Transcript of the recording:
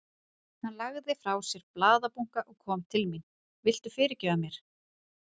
Hann lagði frá sér blaðabunka og kom til mín. Viltu fyrirgefa mér?